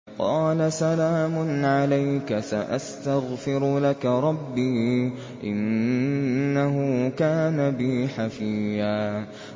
قَالَ سَلَامٌ عَلَيْكَ ۖ سَأَسْتَغْفِرُ لَكَ رَبِّي ۖ إِنَّهُ كَانَ بِي حَفِيًّا